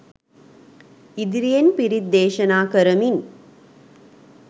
ඉදිරියෙන් පිරිත් දේශනා කරමින්